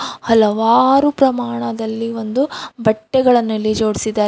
ಹಲವಾರು ಪ್ರಮಾಣದಲ್ಲಿ ಒಂದು ಬಟ್ಟೆಗಳನ್ನು ಇಲ್ಲಿ ಜೋಡಿಸಿದ್ದಾರೆ.